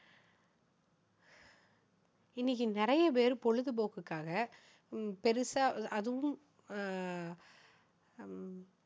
இன்னைக்கு நிறைய பேர் பொழுதுபோக்குக்காக உம் பெருசா அதுவும் அஹ் ஹம்